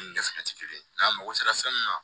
Ni dɛsɛ tɛ kelen ye n'a mago sera fɛn min ma